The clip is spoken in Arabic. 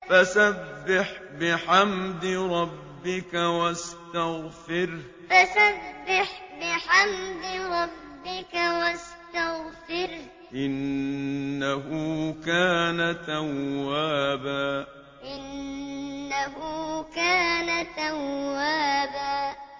فَسَبِّحْ بِحَمْدِ رَبِّكَ وَاسْتَغْفِرْهُ ۚ إِنَّهُ كَانَ تَوَّابًا فَسَبِّحْ بِحَمْدِ رَبِّكَ وَاسْتَغْفِرْهُ ۚ إِنَّهُ كَانَ تَوَّابًا